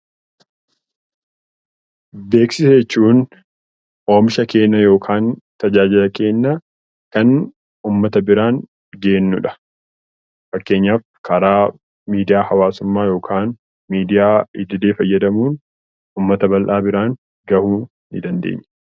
Beeksisa jechuun oomisha keenya yookiin tajaajila keenya kan ittiin uummata biraan geenyudha. Fakkeenyaaf karaa miidiyaa hawaasaatiin yookiin miidiyaa idilee fayyadamuun uummata bal'aa biraan gahuu dandeenya .